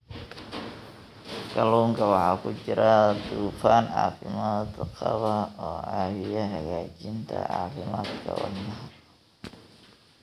Kalluunka waxaa ku jira dufan caafimaad qaba oo caawiya hagaajinta caafimaadka wadnaha.